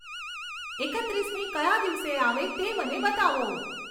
એકત્રીસમી કયા દિવસે આવે તે મને બતાવો